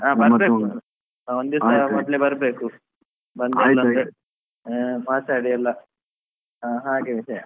ಎಲ್ಲಾ ಬರಬೇಕು ಒಂದು ದಿಸಾ ಮೊದಲೇ ಬರಬೇಕು ಬಂದು ಮಾತಾಡಿ ಅಲ್ಲಾ ಅಹ್ ಹಾಗೆ ವಿಷಯ.